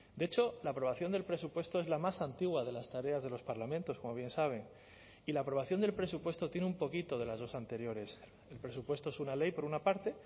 de hecho la aprobación del presupuesto es la más antigua de las tareas de los parlamentos como bien saben y la aprobación del presupuesto tiene un poquito de las dos anteriores el presupuesto es una ley por una parte